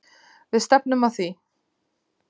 Við stefnum að því.